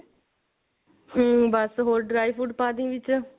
ਹਮ ਬਸ ਹੋਰ dry fruit ਪਾ ਦੀ ਵਿੱਚ